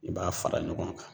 I b'a fara ɲɔgɔn kan